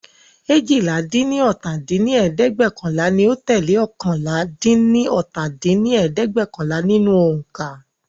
eéjìlá-dín-ní-ọ́ta dín ní ẹ̀ẹ́dẹ́gbẹ́ọ̀kànlá ni ó tẹ́lẹ̀ oókànlá-dín-ní-ọ́ta dín ní ẹ̀ẹ́dẹ́gbẹ́ọ̀kànlá nínú ońká.